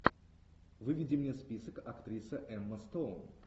выведи мне список актриса эмма стоун